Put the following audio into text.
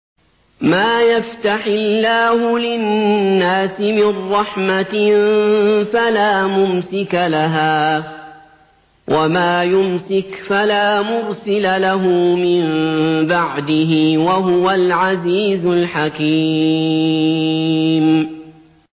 مَّا يَفْتَحِ اللَّهُ لِلنَّاسِ مِن رَّحْمَةٍ فَلَا مُمْسِكَ لَهَا ۖ وَمَا يُمْسِكْ فَلَا مُرْسِلَ لَهُ مِن بَعْدِهِ ۚ وَهُوَ الْعَزِيزُ الْحَكِيمُ